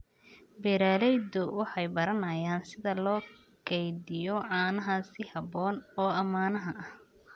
Beeraleydu waxay baranayaan sida loo kaydiyo caanaha si habboon oo ammaan ah.